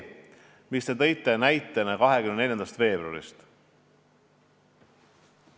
Te tõite näite 24. veebruari kohta.